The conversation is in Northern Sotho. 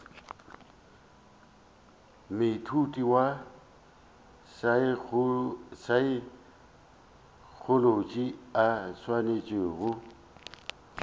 moithuti wa saekholotši a swanetšego